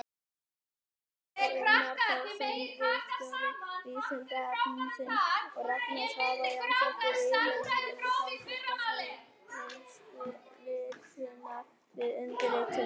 Jón Gunnar Þorsteinsson, ritstjóri Vísindavefsins, og Ragna Sara Jónsdóttir, yfirmaður samskiptasviðs Landsvirkjunar, við undirritunina.